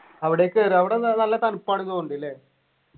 അവിടേക്കേറ അവിടെന്താ നല്ല തണുപ്പാണ്ന്ന് തോന്നുന്നുണ്ട്ല്ലെ